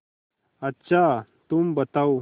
अच्छा तुम बताओ